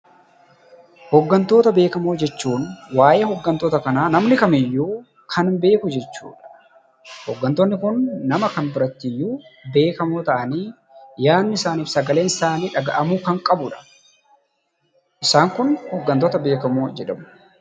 Hooggantoota beekamoo jechuun waayee hooggantoota kanaa namni Kamiyyuu kan beeku jechuu dha. Hooggantoonni kun nama kam biratti iyyuu beekamoo ta'anii, yaanni isaanii fi sagaleen isaanii dhaga'amuu kan qabuu dha. Isaan kun hooggantoota beekamoo jedhamu.